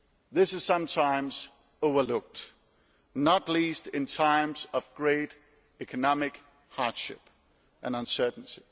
This is sometimes overlooked, not least in times of great economic hardship and uncertainty.